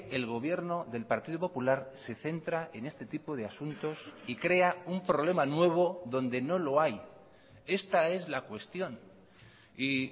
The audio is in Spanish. el gobierno del partido popular se centra en este tipo de asuntos y crea un problema nuevo donde no lo hay esta es la cuestión y